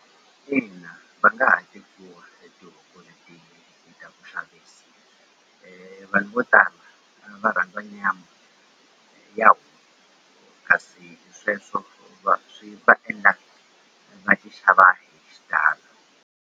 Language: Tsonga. Ina va nga ha tekiwa hi ta ku xavisa vanhu vo tala va rhandza nyama ya kasi sweswo swi va endla va ti xava hi xitalo.